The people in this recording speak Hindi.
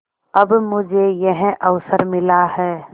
अब मुझे यह अवसर मिला है